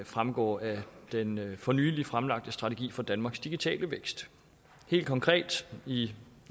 fremgår af den for nylig fremlagte strategi for danmarks digitale vækst helt konkret i